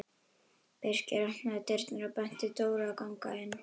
Birkir opnaði dyrnar og benti Dóru að ganga inn.